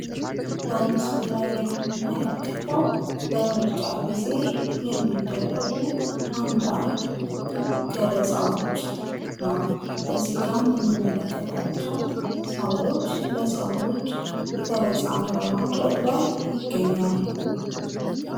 በምስሉ ላይ የምንመለከተው በምርጫ ጊዜ የሚደረጉ አንዳንድ ገለፃዎች ነው። ከዚህም ጋ የምንመለከታቸው ሰዎች ለሰዎች ገለፃን በማድረግ ላይ ይገኛሉ።